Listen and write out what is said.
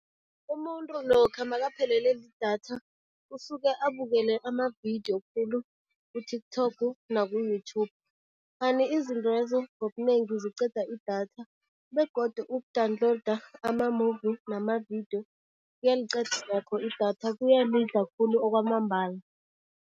Umuntu lokha makaphelele lidatha usuke abukele amavidiyo khulu ku-TikTok naku-YouTube, kanti izintwezo ngobunengi ziqeda idatha begodu uku-download ama-movie nama-video kuyaliqeda nakho idatha, kuyalidla khulu okwamambala.